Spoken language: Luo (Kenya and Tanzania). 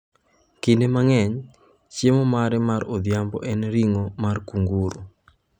Kinde mang’eny, chiemo mare mar odhiambo en ring’o mar kanguru.